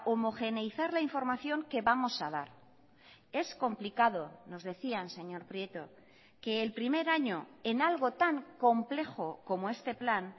homogeneizar la información que vamos a dar es complicado nos decían señor prieto que el primer año en algo tan complejo como este plan